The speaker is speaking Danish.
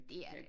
Det er det